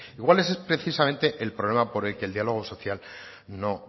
igual ese es precisamente el problema por el que el diálogo social no